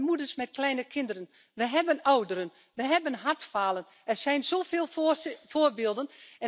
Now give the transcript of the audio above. We hebben moeders met kleine kinderen, we hebben ouderen, we hebben hartfalen er zijn zoveel voorbeelden.